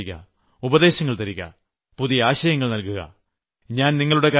പുതിയ നിർദ്ദേശങ്ങൾ തരിക ഉപദേശങ്ങൾ തരിക പുതിയ ആശയങ്ങൾ നൽകുക